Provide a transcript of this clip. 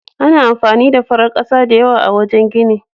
Ana amfani da farar ƙasa da yawa a wajen gini.